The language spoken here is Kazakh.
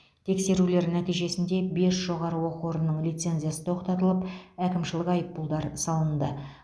тексерулер нәтижесінде бес жоғары оқу орнының лицензиясы тоқтатылып әкімшілік айыппұлдар салынды